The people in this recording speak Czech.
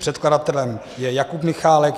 Předkladatelem je Jakub Michálek.